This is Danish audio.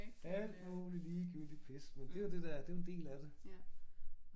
Alt muligt ligegyldigt pis men det jo det der det jo en del af det